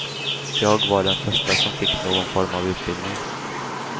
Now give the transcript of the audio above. Jag var den första som fick någon form av utbildning.